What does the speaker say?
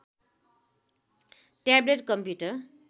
tablet computer